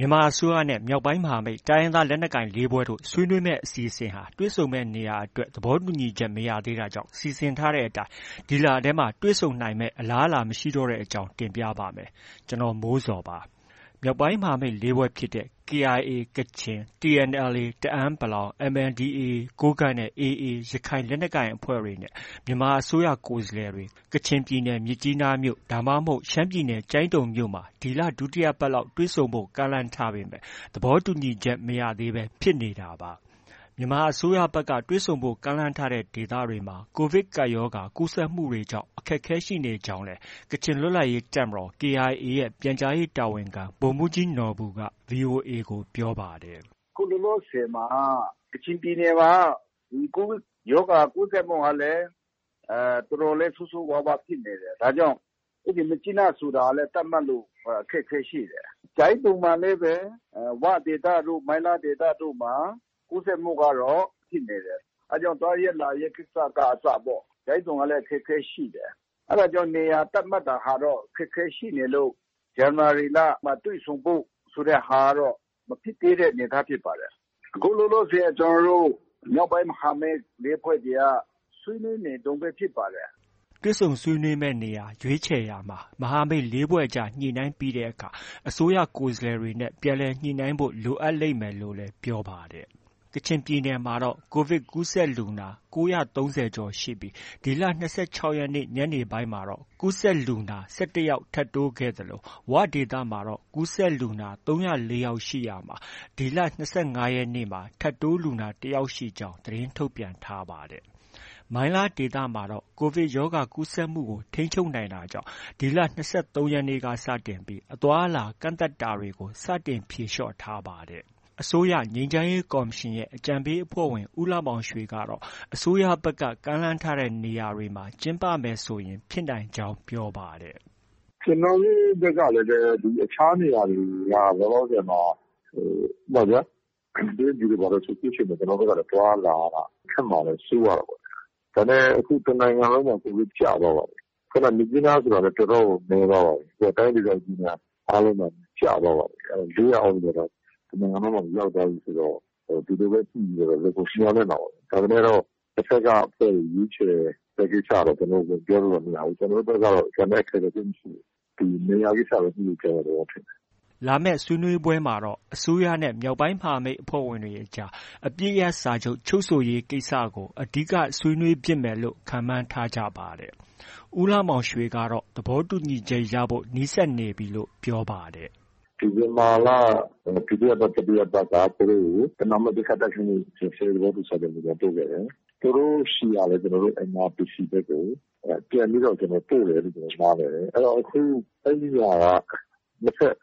မြန်မာအစိုးရနဲ့ မြောက်ပိုင်းမဟာမိတ် တိုင်းရင်းသားလက်နက်ကိုင် ၄ ဖွဲ့တို့ ဆွေးနွေးမယ့် အစီအစဉ်ဟာ တွေ့ဆုံမယ့်နေရာအတွက် သဘောတူညီမှု မရသေးတာကြောင့် စီစဉ်ထားတဲ့အတိုင်း ဒီလထဲ တွေ့ဆုံနိုင်မယ့် အလားအလာမရှိတော့တဲ့အကြောင်းကို ဗွီအိုအေမြန်မာပိုင်း သတင်းထောက် ကိုမိုးဇော်က တင်ပြပေးပါမယ်။ မြောက်ပိုင်းမဟာမိတ် ၄ ဖွဲ့ဖြစ်တဲ့ KIA ကချင်၊ TNLA တအန်း ၊ MNDAA ကိုးကန့်နဲ့ AA ရခိုင်လက်နက်ကိုင်အဖွဲ့တွေနဲ့ မြန်မာအစိုးရ ကိုယ်စားလှယ်တွေ ကချင်ပြည်နယ်၊ မြစ်ကြီးနား ဒါမှမဟုတ် ရှမ်းပြည်နယ်၊ ကျိုင်းတုံမြို့မှာ ဒီလဒုတိယပတ်လောက် တွေ့ဆုံဖို့ ကမ်းလှမ်းထားပေမဲ့ သဘောတူညီချက် မရသေးဘဲ ဖြစ်နေတာပါ။ မြန်မာအစိုးရဘက်က တွေ့ဆုံဖို့ ကမ်းလှမ်းထားတဲ့ ဒေသတွေမှာ ကိုဗစ်ကပ်ရောဂါ ကူးစက်မှုတွေကြောင့် အခက်အခဲ ရှိနေကြောင်းလည်း ကချင်လွတ်လပ်ရေးတပ်မတော် KIA ရဲ့ ပြန်ကြားရေးတာဝန်ခံ ဗိုလ်မှူးကြီးနော်ဘူက VOA ကို ပြောပါတယ်။ “အခုလောလောဆယ်မှာ ကချင်ပြည်နယ်မှာက COVID ရောဂါ ကူးစက်မှုကလည်း တော်တော်လေး ဆိုးဆိုးဝါးဝါးဖြစ်နေတယ်။ ဒါကြောင့် မြစ်ကြီးနားဆိုတာလည်း သတ်မှတ်ဖို့ အခက်အခဲရှိတယ်။ ကျိုင်းတုံမှာလည်းပဲ ဝဒေသတို့၊ မိုင်းလားဒေသတို့မှာ ကူးစက်မှုကတော့ ဖြစ်နေတယ်။ အဲဒါကြောင့် သွားရေး၊ လာရေး ကိစ္စက အစပေါ့။ ကျိုင်းတုံကလည်း အခက်အခဲရှိနေတယ်။ အဲဒါကြောင့် နေရာ သတ်မှတ်တာကတော့ အခက်အခဲရှိနေလို့ ဇန်နဝါရီလမှာ တွေ့ဆုံဖို့ ဆိုတဲ့ဟာကတော့ မဖြစ်သေးတဲ့အနေအထားဖြစ်ပါတယ်။ အခုလောလောဆယ် ကျနော်တို့ မြောက်ပိုင်းမဟာမိတ် ၄ ဖွဲ့တွေက ဆွေးနွေးနေတုန်းပဲ ဖြစ်ပါတယ်။” တွေ့ဆုံဆွေးနွေးမယ့်နေရာ ရွေးခြယ်ရာမှာ မဟာမိတ် ၄ ဖွဲ့ကြား ညှိနှိုင်းပြီးတဲ့အခါ၊ အစိုးရကိုယ်စားလှယ်တွေနဲ့ ပြန်လည်ညှိနှိုင်းဖို့ လိုအပ်လိမ့်မယ်လို့လည်း ပြောပါတယ်။ ကချင်ပြည်နယ်မှာတော့ COVID ကူးစက်လူနာ ၉၃၀ ကျော်ရှိပြီး ဒီလ ၂၆ ရက်နေ့ ညနေပိုင်းမှာ ကူးစက်လူနာ ၁၁ ယောက် ထပ်တိုးခဲ့သလို ဝဒေသမှာတော့ ကူးစက်လူနာ ၃၀၄ ယောက် ရှိရာမှာ ဒီလ ၂၅ ရက်နေ့မှာ ထပ်တိုးလူနာ ၁ ယောက်ရှိကြောင်း သတင်းထုတ်ပြန်ထားပါတယ်။ မိုင်းလားဒေသမှာတော့ COVDI ရောဂါကူးစက်မှုကို ထိန်းချုပ်နိုင်တာကြောင့် ဒီလ ၂၃ ရက်နေ့က စတင်ပြီး အသွားအလာ ကန့်သတ်တာတွေကို စတင် ဖြေလျော့ထားပါတယ်။ အစိုးရ ငြိမ်းချမ်းရေးကော်မရှင်ရဲ့ အကြံပေးအဖွဲ့ဝင် ဦးလှမောင်ရွှေကတော့ အစိုးရဘက်က ကမ်းလှမ်းထားတဲ့ နေရာတွေမှာ ကျင်းပမယ်ဆိုရင် ဖြစ်နိုင်ကြောင်း ပြောပါတယ်။ “ကျနော်တို့ ဘက်ကလည်း အခြားနေရာတွေက လောလောဆယ်မှာ ဥပမာဗျာ... တရုတ်ပြည်တို့ ဘာတို့ဆို အခုချိန်မှာ သွားရလာရတာ ခက်မှာလည်း စိုးရတာပေါ့။ ဒါပေမဲ့ အခုက တစ်နိုင်ငံလုံးမှာ COVID ကျသွားပါပြီ။ မြစ်ကြီးနားဆိုတာလည်း တော်တော်ကို နည်းသွားပါပြီ။ အခုက တိုင်းဒေသကြီးတွေအားလုံးမှာ ကျသွားပါပြီ။ ၄၀၀ အောက်ကို တစ်နိုင်ငံလုံးမှာ ရောက်သွားပြီဆိုတော့ ဒီလိုပဲ ညှိပြီးတော့တော့ လုပ်ဖို့ မျှော်လင့်တာပေါ့ဗျာ။ ဒါပေမဲ့လို့ တဘက်က အဖွဲ့တွေ ရွေးခြယ်တဲ့ ကိစ္စတော့ ကျနော်တို့ ပြောလို့တော့ မရဘူး။ ကျနော်တို့ဘက်ကတော့ ကျန်တဲ့အခက်အခဲ သိပ်မရှိဘူး။ နေရာကိစ္စပဲ ညှိဖို့ ကျန်တဲ့သဘောဖြစ်တယ်။” လာမယ့် ဆွေးနွေးပွဲမှာတော့ အစိုးရနဲ့ မြောက်ပိုင်း မဟာမိတ်အဖွဲ့ဝင်တွေအကြား အပစ်ရပ်စာချုပ် ချုပ်ဆိုရေးကိစ္စတွေကို အဓိက ဆွေးနွေးဖြစ်မယ်လို့လည်း ခန့်မှန်းထားကြပါတယ်။ ဦးလှမောင်ရွှေကတော့ သဘောတူညီချက်ရဖို့ နီးစပ်နေပြီလို့ ပြောပါတယ်။ “ဒီဇင်ဘာလ ဒုတိယပတ်၊ တတိယပတ်က သူတို့ကို ပဏာမ ပစ်ခတ်တိုက်ခိုက်မှု ရပ်စဲရေး သဘောတူစာချုပ် မူကြမ်းပို့ခဲ့တယ်။ သူတို့ဆီကလည်း ကျနော်တို့ NRPC ဘက်ကို ပြန်ပြီးတော့ ပို့တယ်လု့ိ ကျနော်တို့ နားလည်တယ်။ အခု အဲဒီဟာက နှစ်ဘက်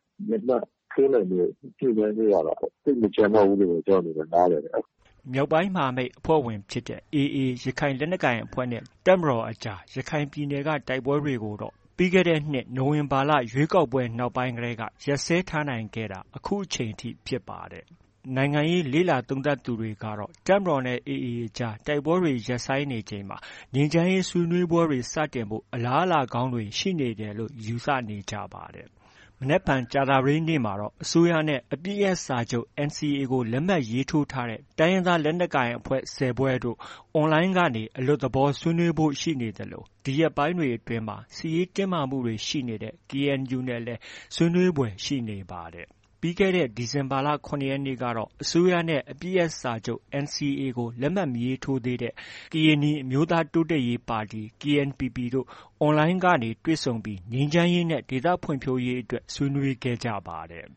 လက်မှတ်ထိုးနိုင်ဖို့ ညှိနှိုင်းဖို့ကတော့ သိပ်မကျန်တော့ဘူးလို့ပဲ ကျနော် နားလည်တယ်။” မြောက်ပိုင်းမဟာမိတ်အဖွဲ့ဝင်ဖြစ်တဲ့ AA ရခိုင်လက်နက်ကိုင်အဖွဲ့နဲ့ တပ်မတော်ကြား ရခိုင်ပြည်နယ်က တိုက်ပွဲတွေကိုတော့ ပြီးခဲ့တဲ့နှစ် နိုဝင်ဘာလ ရွေးကောက်ပွဲ နောက်ပိုင်းကတည်းက ရပ်စဲထားနိုင်ခဲ့တာ အခုချိန်ထိ ဖြစ်ပါတယ်။ နိုင်ငံရေးလေ့လာသုံးသပ်သူတွေကတော့ တပ်မတော်နဲ့ AA အကြား တိုက်ပွဲတွေ ရပ်ဆိုင်းနေချိန်မှာ ငြိမ်းချမ်းရေး ဆွေးနွေးပွဲတွေ စတင်ဖို့ အလားအလာကောင်းတွေ ရှိနေတယ်လို့ ယူဆနေကြပါတယ်။ မနက်ဖြန် ကြာသပတေးနေ့မှာတော့ အစိုးရနဲ့ အပစ်ရပ်စာချုပ် NCA လက်မှတ်ရေးထိုးထားတဲ့ တိုင်းရင်းသားလက်နက်ကိုင်အဖွဲ့ ၁၀ ဖွဲ့တို့ online ကနေ အလွတ်သဘောဆွေးနွေးဖို့ ရှိနေသလို ဒီရက်ပိုင်းအတွင်း စစ်ရေးတင်းမာမှုတွေ ရှိနေတဲ့ KNU နဲ့လည်း ဆွေးနွေးဖွယ် ရှိနေပါတယ်။ ပြီးခဲ့တဲ့ ဒီဇင်ဘာလ ၇ ရက်နေ့ကတော့ အစိုးရနဲ့ အပစ်ရပ်စာချုပ် NCA ကို လက်မှတ် မရေးထိုးသေးတဲ့ ကရင်နီအမျိုးသားတိုးတက်ရေးပါတီ KNPP တို့ online ကနေ တွေ့ဆုံပြီး ငြိမ်းချမ်းရေးနဲ့ ဒေသဖွံ့ဖြိုးရေးအတွက် ဆွေးနွေးခဲ့ပါတယ်။